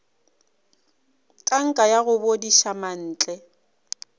tanka ya go bodiša mantle